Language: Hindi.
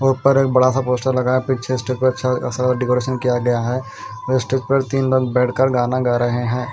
उपर एक बड़ा सा पोस्टर लगाया पीछे स्टेज पे अच्छा सा डेकोरेशन किया गया है स्टेज पर तीन लोग बैठकर गाना गा रहे--